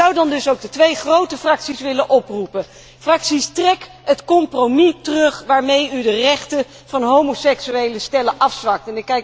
Ik zou daarom ook de twee grote fracties willen oproepen fracties, trek het compromis terug waarmee u de rechten van homoseksuele stellen afzwakt.